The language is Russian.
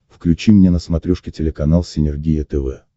включи мне на смотрешке телеканал синергия тв